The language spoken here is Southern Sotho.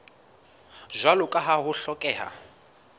jwalo ka ha ho hlokeha